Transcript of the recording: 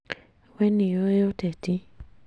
Wee nĩũĩ ũteti